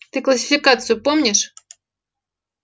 ты классификацию помнишь